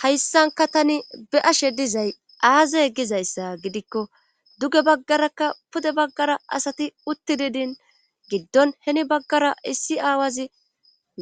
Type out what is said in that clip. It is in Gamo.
hayssanka tani be ashe dizay aazey gizayssa gidikko duge baggarakka pude baggara asati uttidi din giddon heni baggara issi aawazi